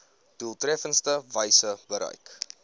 doeltreffendste wyse bereik